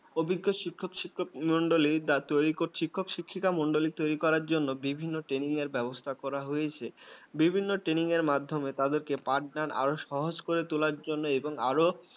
অভিজ্ঞ শিক্ষক শিক্ষক মন্ডলী তোরই শিক্ষক-শিক্ষক মন্ডলী শিখাবলি তৈরি করার জন্য বিভিনি training এর ব্যবস্থা করা হয়েছে বিভিন্ন training এর মাধ্যমে তাদেরকে partner আরও সহজ করে তোলার জন্য এবং আরও